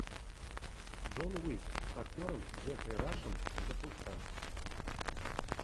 джон уик с актером джеффри рашем запускай